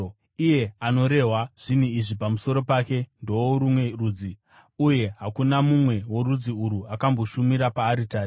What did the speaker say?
Iye anorehwa zvinhu izvi pamusoro pake ndeworumwe rudzi, uye hakuna mumwe worudzi urwu akamboshumira paaritari.